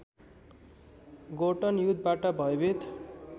Gorton युद्धबाट भयभित